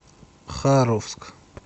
харовск